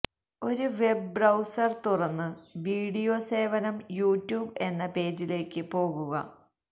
ഒരു web browser തുറന്ന് video സേവനം യൂട്യൂബ് എന്ന പേജിലേക്ക് പോകുക